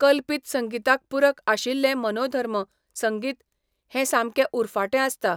कल्पीत संगिताक पूरक आशिल्लें मनोधर्म संगीत हें सामकें उरफाटें आसता.